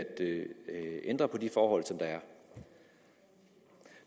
ændre på de forhold som der er